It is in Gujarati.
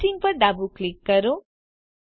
Editingપર ડાબું ક્લિક કરો